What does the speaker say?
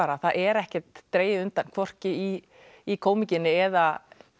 það er ekkert dregið undan hvorki í í eða